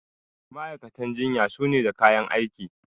ma'aikatan jinya suna da kayan aiki